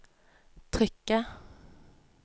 trykket